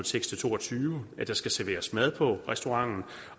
seks og to og tyve at der skal serveres mad på restauranten